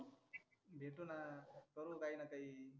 भेटुना ना करु काहीना काही.